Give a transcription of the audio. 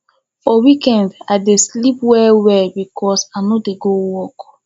for weekend i dey sleep wellwell because i no dey go work